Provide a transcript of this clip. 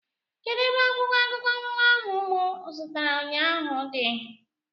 Kedụ ebe akwụkwọ akụkọ ụwa ahụ mụ zụtara ụnyaahụ dị?